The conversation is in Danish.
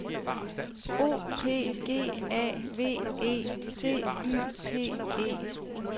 O P G A V E T Y P E